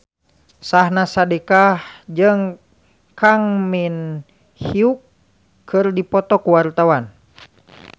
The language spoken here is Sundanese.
Syahnaz Sadiqah jeung Kang Min Hyuk keur dipoto ku wartawan